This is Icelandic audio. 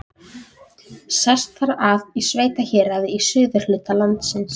Hið sameiginlega með samkynhneigðu og gagnkynhneigðu fólki